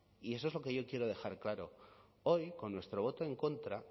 y eso es lo que yo quiero dejar claro hoy con nuestro voto en contra